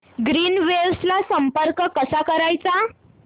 Greenwaves ला संपर्क कसा करायचा